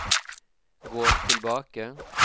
gå tilbake